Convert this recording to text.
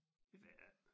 Det ved jeg ik